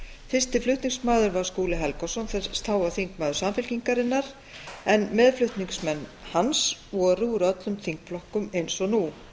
fyrsti flutningsmaður var skúli helgason sem þá var þingmaður samfylkingarinnar en meðflutningsmenn hans voru úr öllum þingflokkum eins og nú